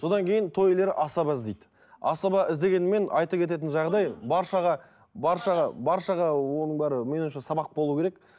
содан кейін той иелері асаба іздейді асаба іздегенімен айта кететін жағдай баршаға баршаға баршаға оның бәрі менің ойымша сабақ болу керек